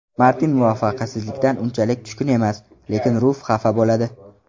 Martin muvaffaqiyatsizligidan unchalik tushkun emas, lekin Ruf xafa bo‘ladi.